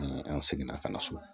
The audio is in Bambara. An seginna ka na so